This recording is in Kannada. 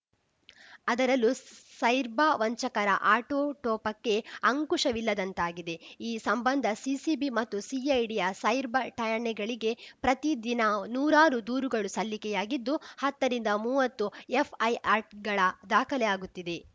ಅದರಲ್ಲೂ ಸೈರ್ಬಾ ವಂಚಕರ ಆಟೊಟೋಪಕ್ಕೆ ಅಂಕುಶವಿಲ್ಲದಂತಾಗಿದೆ ಈ ಸಂಬಂಧ ಸಿಸಿಬಿ ಮತ್ತು ಸಿಐಡಿಯ ಸೈರ್ಬ ಠಾಣೆಗಳಿಗೆ ಪ್ರತಿ ದಿನ ನೂರಾರು ದೂರುಗಳು ಸಲ್ಲಿಕೆಯಾಗಿದ್ದು ಹತ್ತರಿಂದ ಮುವತ್ತು ಎಫ್‌ಐಆರ್‌ಗಳ ದಾಖಲೆ ಆಗುತ್ತಿದೆ